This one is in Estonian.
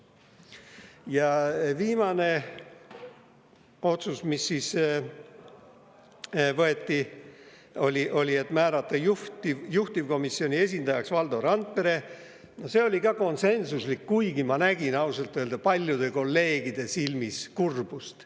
Ja viimane otsus, mis vastu võeti, oli määrata juhtivkomisjoni esindajaks Valdo Randpere, see oli ka konsensuslik, kuigi ma nägin ausalt öelda paljude kolleegide silmis kurbust.